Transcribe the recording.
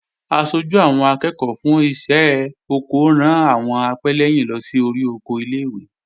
Aṣojú àwọn akẹ́ẹ̀kọ́ fún iṣẹ́ oko ran àwọn apẹ́lẹ́yìn lọ sí orí oko ilé-ìwé